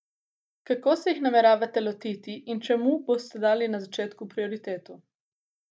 Kako se jih nameravate lotiti in čemu boste dali na začetku prioriteto?